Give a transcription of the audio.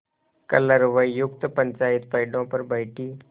कलरवयुक्त पंचायत पेड़ों पर बैठी